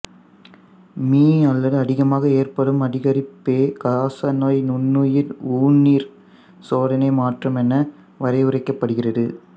me அல்லது அதிகமாக ஏற்படும் அதிகரிப்பே காசநோய் நுண்ணுயிர் ஊனீர் சோதனை மாற்றம் என வரையறுக்கப்படுகிறது